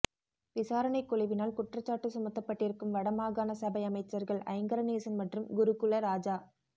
விசாரணைக் குழுவினால் குற்றச்சாட்டு சுமத்தப்பட்டிருக்கும் வடமாகாண சபை அமைச்சர்கள் ஐங்கரநேசன் மற்றும் குருகுலராஜா